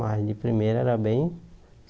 Mas de primeira era bem